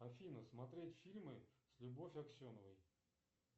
афина смотреть фильмы с любовь аксеновой